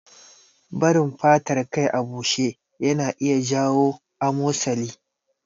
Barin fatar kai a bushe ya na iya jawo amosali